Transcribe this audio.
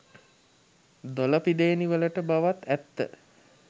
දොළ පිදේනි වලට බවත් ඇත්ත.